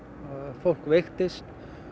fólk veiktist